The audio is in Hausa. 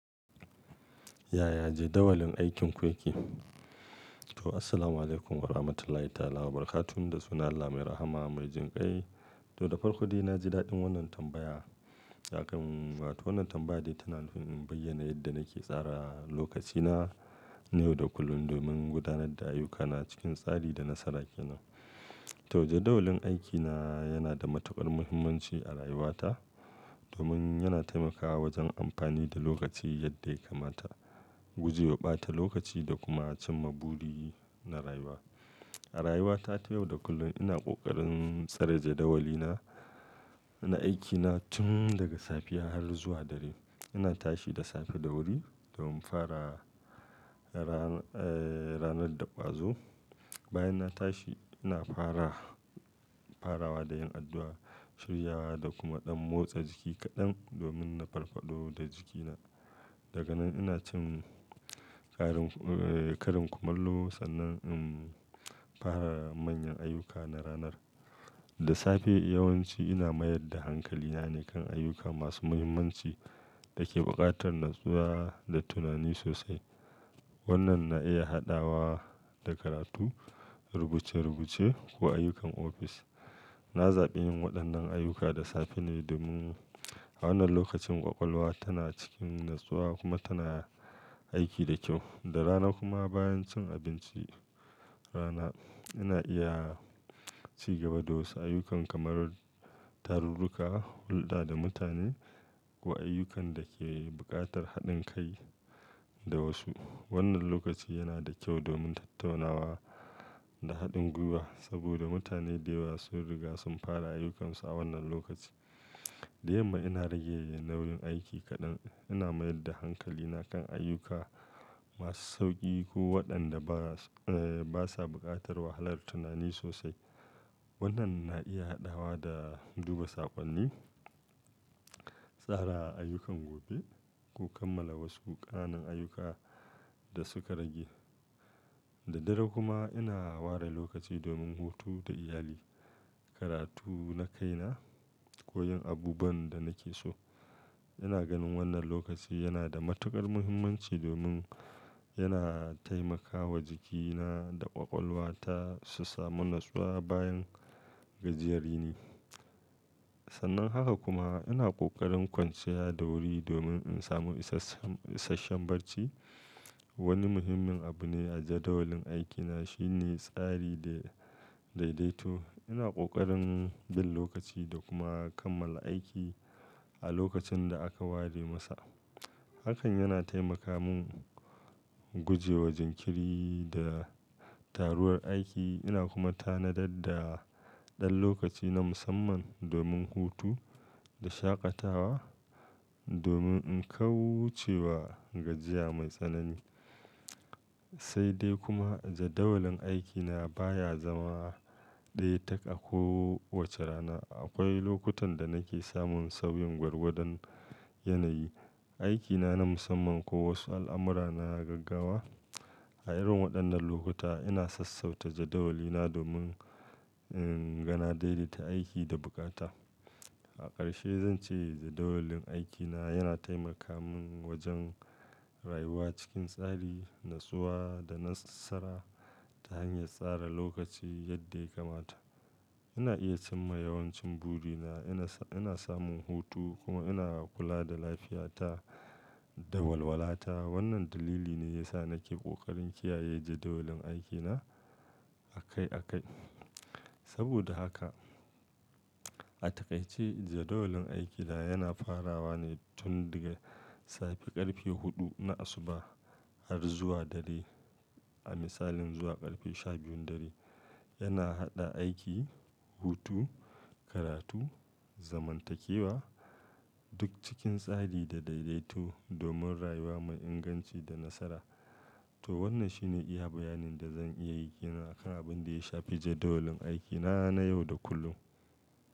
Yaya jadawalin aikin ku yake? To, assalamualaikum warahmatullahi ta'ala wabarakatuhu. Da sunan Allah mai rahama mai jin kai. To, da farko dai na ji daɗin wannan tambaya. Akan, wato wannan tambaya dai tana in bayyana yadda nake tsara lokacina na yau da kullum domin gudanar da ayyukana cikin tsari da nasara ke nan. To, jaddawalin aikina yana da matuƙar muhimmanci a rayuwata domin yana taimakawa wajen amfani da lokaci yadda ya kamata, guje wa ɓata lokaci da kuma cin maburi na rayuwa. A rayuwata ta yau da kullum ina ƙoƙarin tsare jaddawalina na aikina tun daga safiya har zuwa dare. Ina tashi da safe da wuri domin fara, ran, eh, ranar da ƙwazo. Bayan na tashi ina fara, farawa da yin addu'a, shiryawa da kuma ɗan motsa jiki kaɗan domin na farafado da jikina. Daga nan ina cin ƙarin, eh, karin kumallo sannan in fara manyan ayyuka na ranar. Da safe yawanci ina mayar da hankalina ne kan ayyuka masu muhimmanci da ke buƙatar natsuwa da tunani sosai. Wannan na iya haɗawa da karatu, rubuce-rubuce ko ayyukan ofis. Na zaɓi yin waɗannan ayyuka da safe ne domin a wannan lokacin ƙwaƙwalwa tana cikin natsuwa kuma tana aiki da kyau. Da rana kuma bayan cin abincin rana ina iya ci gaba da wasu ayyuka kamar tarurruka, hulɗa da mutane ko ayyukan da ke buƙatar haɗin kai da wasu. Wannan lokaci yana da kyau domin tattaunawa da haɗin gwiwa saboda mutane da yawa sun riga sun fara ayyukansu a wannan lokaci. Da yamma ina rage nauyin aiki kaɗan. Ina mayar da hankalina kan ayyuka masu sauƙi ko waɗanda bas, eh, ba sa buƙatar wahalar tunani sosai. Wannan na iya haɗawa da duba saƙonni, tsara ayyukan gobe ko kammala wasu ƙananan ayyuka da suka rage. Da dare kuma ina ware lokaci domin hutu da iyali, karatu na kaina ko yin abubuwan da nake so. Ina ganin wannan lokaci yana da matuƙar muhimmanci domin yana taimakawa jikina da ƙwaƙwalwata su samu natsuwa bayan gajiyar yini. Sannan haka kuma ina ƙoƙarin kwanciya da wuri domin in samu isas issashen barci. Wani muhimmin abu ne a jadawalin aikina shine tsari da daidaito. Ina ƙoƙarin bin lokaci da kuma kammala aiki a lokacin da aka ware masa. Hakan yana taimaka mun guje wa jinkiri da taruwar aiki. Ina kuma tanadar da ɗan lokaci na musamman domin hutu da shaƙatawa domin in kauce wa gajiya mai tsanani. Sai dai kuma jadawalin aikina baya zama ɗaya tak a kowace rana. Akwai lokutan da nake samun sauyin gwargodon yanayi, aikina na musamman ko wasu al'amura na gaggawa. A irin waɗannan lokuta ina sassauta jadawalina domin in gane daidaita aiki da bukata. A ƙarshe zan ce jadawalin aikina yana taimaka mun wajen rayuwa cikin tsari, natsuwa da nasara ta hanyar tsara lokaci yadda ya kamata. Ina iya cimma yawancin burina, ina, ina samun hutu kuma ina kula da lafiyata da walwala ta. Wannan dalili ne ya sa nake ƙoƙarin kiyaye jadawalin aikina a kai a kai. Saboda haka a taƙaice jadawalin aikina yana farawa ne tun daga safe ƙarfe huɗu na asuba har zuwa dare. A misalin zuwa ƙarfe sha biyun dare. Yana haɗa aiki, hutu, karatu, zamantakewa duk cikin tsari da daidaito domin rayuwa mai inganci da nasara. To, wannan shine iya bayanin da zan iya yi game da abin da ya shafi jadawalin aikina na yau da kullum.